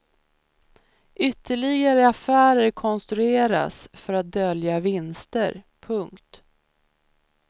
Ytterligare affärer konstruerats för att dölja vinster. punkt